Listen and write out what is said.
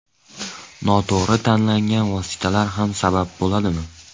Noto‘g‘ri tanlangan vositalar ham sabab bo‘ladimi?